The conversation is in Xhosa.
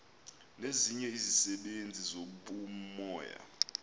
nezinye izisebenzi zobumoya